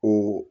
Ko